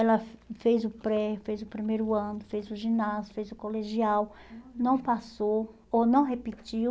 Ela fez o pré, fez o primeiro ano, fez o ginásio, fez o colegial, não passou ou não repetiu